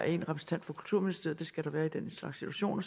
en repræsentant for kulturministeriet for det skal der være i den slags situationer